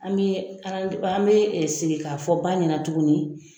An bɛ an bɛ segin k'a fɔ ba ɲɛna tuguni